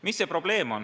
Milles on probleem?